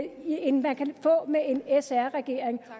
end man kan få med en sr regering